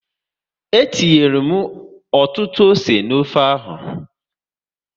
Etinyere m ọtụtụ ose n'ofe ahụ